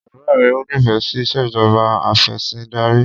Bàbá rẹ ò nífẹẹ sí ìṣèjọba afẹ̀sìndarí.